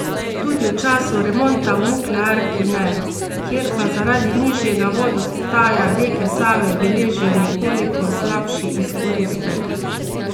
Tudi v času remonta v nuklearki ne, kjer pa zaradi nižjega vodostaja reke Save beležijo nekoliko slabši izkoristek.